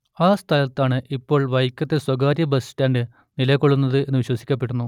ആ സ്ഥലത്താണ് ഇപ്പോൾ വൈക്കത്തെ സ്വകാര്യ ബസ് സ്റ്റാന്റ് നിലകൊള്ളുന്നത് എന്നു വിശ്വസിക്കപ്പെടുന്നു